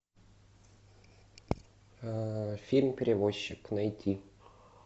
фильм перевозчик найти